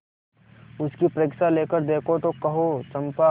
उसकी परीक्षा लेकर देखो तो कहो चंपा